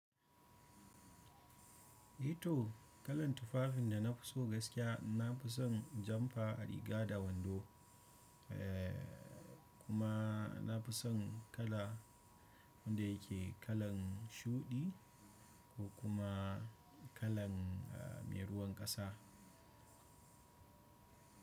Eh to kalan tufafin da na fi so gaskiya, na fi son janfa a riga da wando. Eh kuma na fi son kala wanda yake kalan shuɗi ko kuma kalan me ruwan ƙasa.